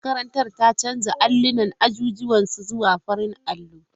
Makarantar ta canza allunan azuzuwan su zuwa farar allo.